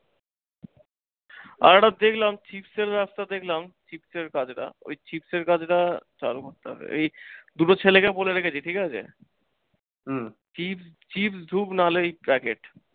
আর একটা দেখলাম রাস্তা দেখলাম, চিপস এর কাজটা, ঐ চিপস এর কাজটা চালু করতে হবে। এই দুটো ছেলেকে বলে রেখেছি ঠিকাছে। হুম চিপ চিপস, ধুপ নাহলে ঐ packet